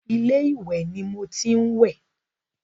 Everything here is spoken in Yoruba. Ilé ìwẹ̀ ni mo tí ń wẹ̀.